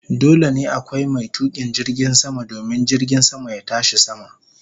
Dole ne akwai mai tukin jirgin sama domin jirgin sama ya tashi sama.